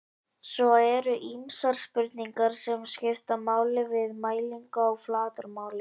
svo eru ýmsar spurningar sem skipta máli við mælingu á flatarmáli